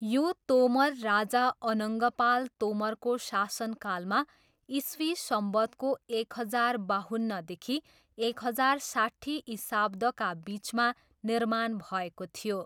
यो तोमर राजा अनङ्गपाल तोमरको शासनकालमा इस्वी सम्वत्‌को एक हजार बाहुन्नदेखि एक हजार साट्ठी इशाब्दका बिचमा निर्माण भएको थियो।